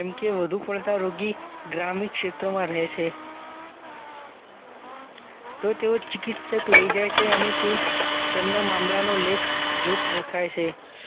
જેમ કે વધુ પડતા રોગી ગ્રામીણ ક્ષેત્રમાં રહે છે તો તેઓ ચિકિત્સક લઈ જાય છે અને તે તેમના મામલાનો લેખ જોખ રખાય છે